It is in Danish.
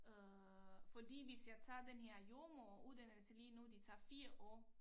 Øh fordi hvis jeg tager den her jordemoderuddannelse lige nu det tager 4 år